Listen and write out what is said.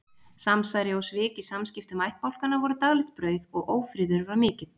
Samsæri og svik í samskiptum ættbálkanna voru daglegt brauð og ófriður var mikill.